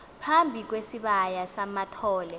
phambi kwesibaya samathole